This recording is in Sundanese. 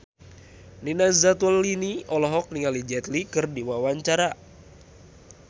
Nina Zatulini olohok ningali Jet Li keur diwawancara